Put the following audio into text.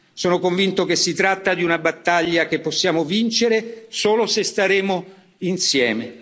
Sono convinto che si tratta di una battaglia che possiamo vincere solo se staremo insieme.